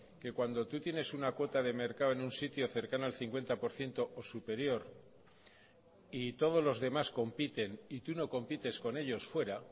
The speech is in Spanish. que cuando tú tienes una cuota de mercado en un sitio cercano al cincuenta por ciento o superior y todos los demás compiten y tú no compites con ellos fuera